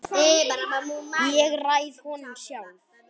Ég ræð honum sjálf.